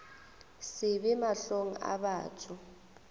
se be mahlong a batho